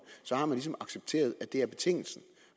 så har man ligesom accepteret at det er betingelsen